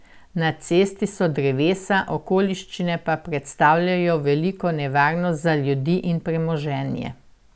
Na cesti so drevesa, okoliščine pa predstavljajo veliko nevarnost za ljudi in premoženje.